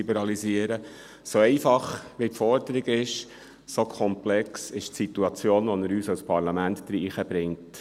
So einfach die Forderung ist, so komplex ist die Situation, in die er uns als Parlament bringt.